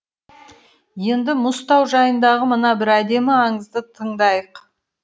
енді мұзтау жайындағы мына бір әдемі аңызды тыңдайық